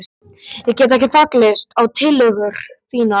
Ég get ekki fallist á tillögur þínar sagði ég.